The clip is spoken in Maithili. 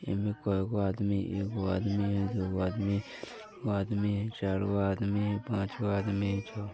एमे कोई गो आदमी है एक गो आदमी है दो गो आदमी है तीन गो आदमी है चारो आदमी है पांच गो आदमी छ गो---